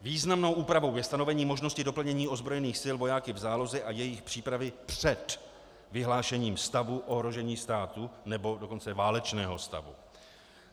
Významnou úpravou je stanovení možnosti doplnění ozbrojených sil vojáky v záloze a jejich přípravy před vyhlášením stavu ohrožení státu, nebo dokonce válečného stavu.